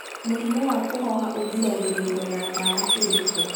mũrimũ wa kuhoha ugiragiririo na dawa ĩrikũ